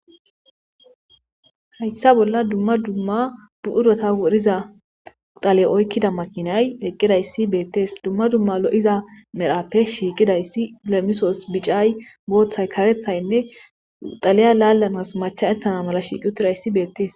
Hayssa bolla dumma dumma bu7urota wodhiza tale oykkida makinay heqqidayssi beettes dumma dumma lo7iza merhappe shiiqidayssi lemisoos bicay booththay karethaynne xaleya laallanas macha ettana mala shiiqi utidayssi beettees